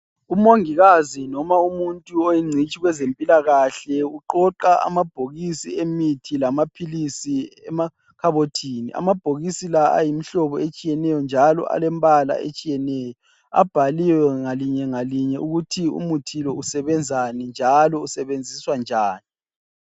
Umongikazi noma umuntu oyingcitshi kwezempilakahle uqoqa amabhokisi emithi lamaphilisi emakhabothini. Amabhokisi la ayimihlobo etshiyeneyo njalo alembala etshiyeneyo. Abhaliwe ngalinye ngalinye ukuthi umuthi lo usebenzani njalo usebenziswa njani.